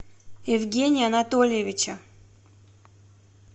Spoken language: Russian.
евгения анатольевича